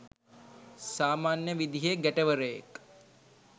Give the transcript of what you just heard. සාමන්‍ය විදිහේ ගැටවරයෙක්.